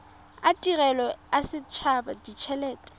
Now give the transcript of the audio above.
a tirelo a setshaba ditshelete